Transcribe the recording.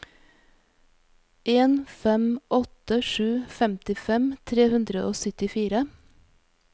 en fem åtte sju femtifem tre hundre og syttifire